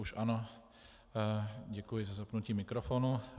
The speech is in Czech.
Už ano, děkuji za zapnutí mikrofonu.